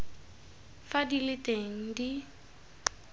fa di le teng di